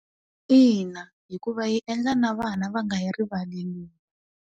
Ina, hikuva yi endla na vana va nga yi rivali .